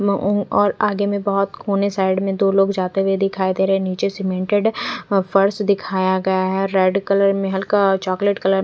और आगे में बहत कोने साइड में दो लोग जाते हुए दिखाई दे रहे है निचे सिमेंटेड है फरस दिखाया गया है रेड कलर में हल्का चोकलेट कलर --